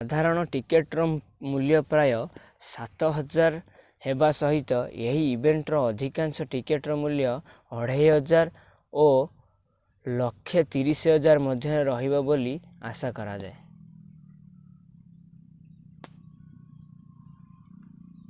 ସାଧାରଣ ଟିକେଟର ମୂଲ୍ୟ ପ୍ରାୟ ¥7,000 ହେବା ସହିତ ଏହି ଇଭେଣ୍ଟର ଅଧିକାଂଶ ଟିକେଟର ମୂଲ୍ୟ ¥2,500 ଓ ¥130,000 ମଧ୍ୟରେ ରହିବ ବୋଲି ଆଶା କରାଯାଏ